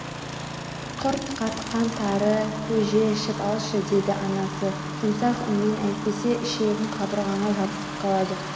Құрт қатқан тары көже Ішіп алшы деді анасы жұмсақ үнмен Әйтпесе ішегің қабырғаңа жабысып қалады